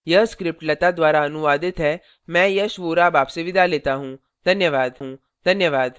यह स्क्रिप्ट लता द्वारा अनुवादित है मैं यश वोरा अब आपसे विदा लेता हूँ